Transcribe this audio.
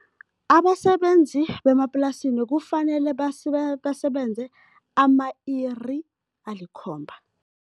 Abasebenzi bemaplasini kufanele basebenze ama-iri alikhomba.